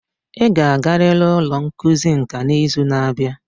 Ị ga-agarịrị ụlọ ngosi nka n'izu na-abịa